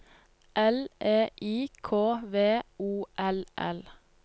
L E I K V O L L